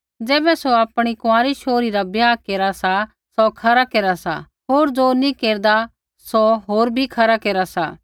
ज़ैबै सौ आपणी कुँआरी शोहरी रा ब्याह केरा सा सौ खरा केरा सा होर ज़ो नी केरदा सौ होर भी खरा केरा सा